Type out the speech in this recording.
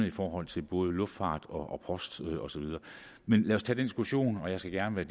i forhold til både luftfart og post og så videre men lad os tage den diskussion og jeg skal gerne